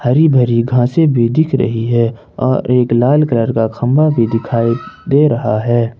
हरी भरी घासे भी दिख रही है और एक लाल कलर का खंबा भी दिखाई दे रहा है।